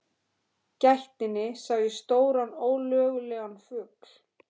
gættinni sá ég stóran ólögulegan fugl.